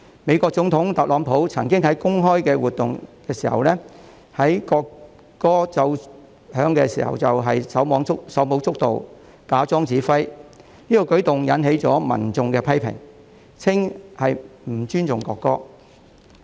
美國總統特朗普曾經在公開活動奏響國歌時手舞足蹈，假裝指揮，此舉引起民眾批評，說他不尊重國歌。